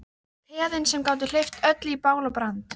Peðin sem gátu hleypt öllu í bál og brand.